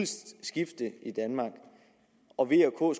skifte i danmark og v og